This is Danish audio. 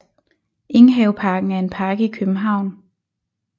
Enghaveparken er en park i København